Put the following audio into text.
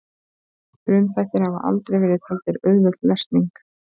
frumþættir hafa aldrei verið taldir auðveld lesning